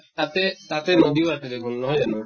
তাতে তাতে নদীও আছে দেখোন, নহয় জানো?